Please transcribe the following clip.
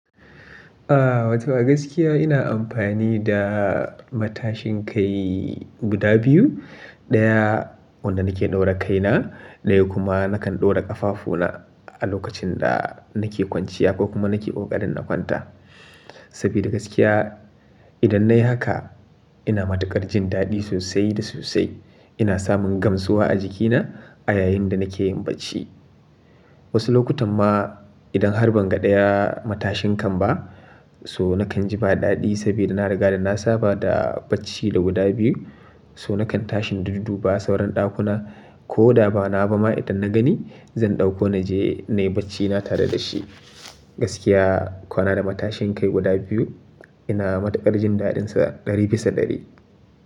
Ah wato a gaskiya ina amfani da matashin kai guda biyu. Ɗaya wanda nake ɗaura kaina, ɗaya kuma nakan ɗaura ƙafafuna a lokacin da nake kwanciya ko kuma nake ƙoƙarin na kwanta. Saboda gaskiya idan nayi haka ina matuƙar jin daɗi sosai da sosai. Ina samun gamsuwa a jikina a yayin da nake yin bacci. Wasu lokutan ma idan har ban ga ɗaya matashin kan ba so nakan ji ba daɗi saboda na riga da na saba da bacci da guda biyu. So nakan tashi duddu ba sauran ɗakunan ko da ba na ba ma idan na gani zan ɗauko naje nayi bacci na tare da shi. Gaskiya kwanan da matashin kai guda biyu ina matuƙar jin daɗinsa ɗari bisa ɗari.